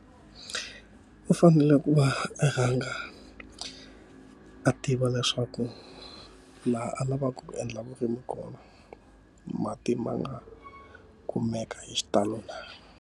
U fanele ku va rhanga a tiva leswaku laha a lavaka ku endla vurimi kona, mati ma nga kumeka hi xitalo na.